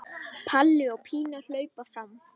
Palli og Pína hlaupa fram.